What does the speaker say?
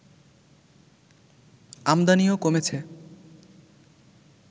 আমদানিও কমেছে